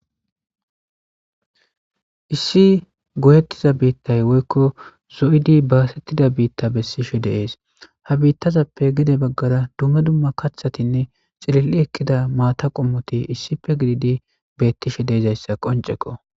issi goyettiza biittay woykko zo'idi basettida biitta besishshe de'ees ha biittazappe gede baggara dumma dumma kaththatinne cilil'i ekidda maata qommoti issippe gididi beettishe deizayssa qoncekko